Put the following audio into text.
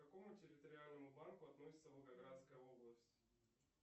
к какому территориальному банку относится волгоградская область